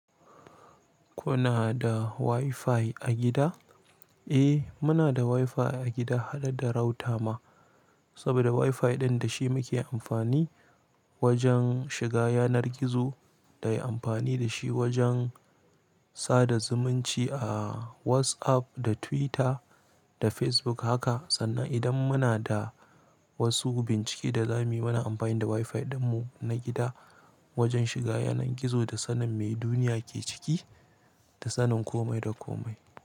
Kuna da WiFi a gida? Eh, muna da WiFi a gida haɗe da router ma, saboda WiFi ɗin da shi muke amfani wajen shiga yanar gizo da yi amfani da shi wajen sa da zumunci a WhatsApp da Twitter da Facebook haka. Sannan idan muna da wasu bincike da za mu yi, muna amfani da WiFi ɗinmu na gida wajen shiga yanar gizo da sanin me duniya ke ciki da sanin kome da kome.